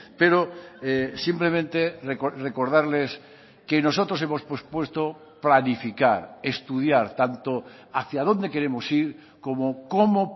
pero simplemente recordarles que nosotros hemos pospuesto planificar estudiar tanto hacia dónde queremos ir como cómo